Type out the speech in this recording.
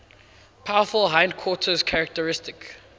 powerful hindquarters characteristic